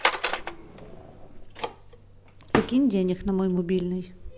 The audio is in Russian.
закинь денег на мой мобильный